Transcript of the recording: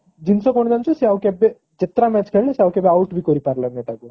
ଜିନିଷ କଣ ଜାଣିଛ ସେ ଆଉ କେବେ ଯେତେଟା match ଖେଳିଲେ ସେ ଆଉ କେବେ out ବି କରି ପାରିଲାନି ତାକୁ